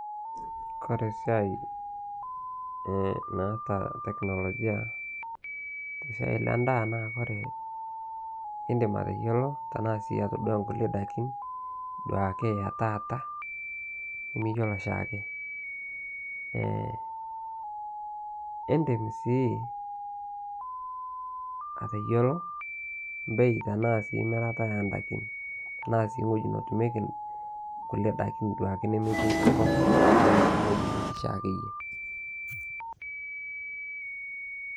Kore siai naata teknologia siai Le ndaa naa kore indim ateyoloo tanaa sii atodua nkulie dakin duake etaata nimiyeloo shaake. Indim sii ateyoloo bei tanaa mirataa endakin tanaa sii ng'hojii notumieki nkulie dakin duake nemetii nkop anaa ng'hojii nitii shaake yie.